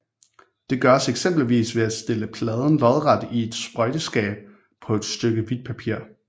Det gøres eksempelvis ved at stille pladen lodret i et sprøjteskab på et stykke hvidt papir